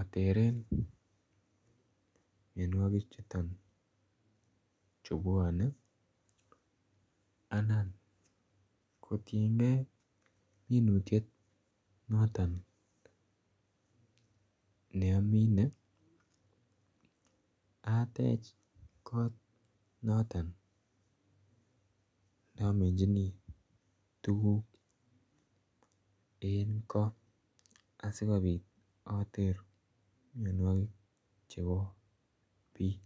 ateren mianwagik chutoon chu bwanei anan kotiiny gei ak minutiet notoon ne amine ateech koot notoon namichini tuguuk eng ko asikobiit after mianwagik chotoon chebo biik.